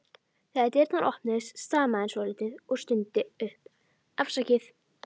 Þegar dyrnar opnuðust stamaði hann svolítið og stundi upp: Afsakið